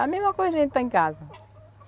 A mesma coisa de a gente estar em casa.